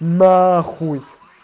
нахуй